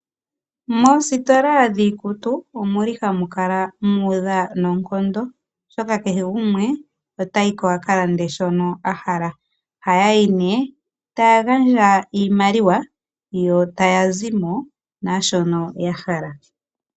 Moositola dhiikutu omu li hamu kala mu udha noonkondo oshoka kehe gumwe otayi ko a ka lande shono a hala . Ohaya yi nee taya gandja iimaliwa yo taya zimo naashono ya hala.